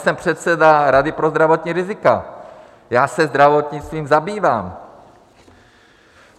Jsem předseda Rady pro zdravotní rizika, já se zdravotnictvím zabývám.